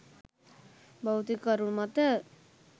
භෞතික කරුණු මත